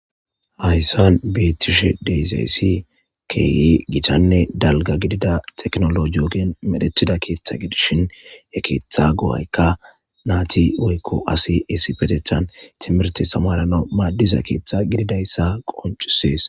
Hayssan beetishe deyzayssi keye gitanne dalga gidida teknolo joogen medhetida keeththa gidishin ye keeththa go7aykka naati oykko asi essipetethan timirti samarana maaddiza keeththa gididayssa qoncisees.